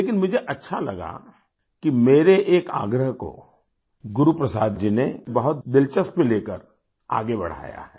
लेकिन मुझे अच्छा लगा कि मेरे एक आग्रह को गुरु प्रसाद जी ने बहुत दिलचस्पी लेकर आगे बढ़ाया है